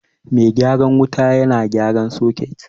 Mai gyaran wuta na gyaran soket